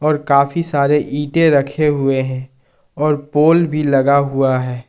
और काफी सारे ईंटें रखे हुए हैं और पोल भी लगा हुआ है।